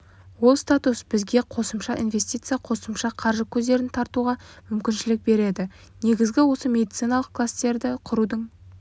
ол статус бізге қосымша инвестиция қосымша қаржы көздерін тартуға мүмкіншілік береді негізгі осы медициналық класстерді құрудың